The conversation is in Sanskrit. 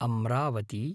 अम्रावती